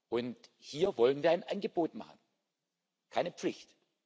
Und hier wollen wir ein Angebot machen keine Pflicht.